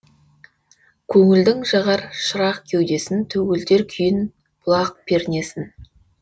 көңілдің жағар шырақ кеудесін төгілтер күйін бұлақ пернесін